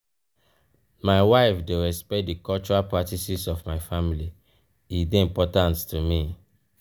my wife dey respect di cultural practices of my family e dey important to me.